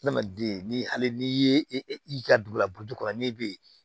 Adamaden ni hali n'i ye i ka dugu la burutu kɔrɔ n'i bɛ yen